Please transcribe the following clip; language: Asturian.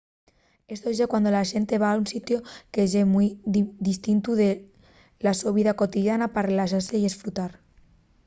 esto ye cuando la xente va a un sitiu que ye mui distintu de la so vida cotidiana pa relaxase y esfrutar